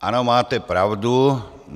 Ano, máte pravdu.